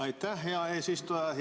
Aitäh, hea eesistuja!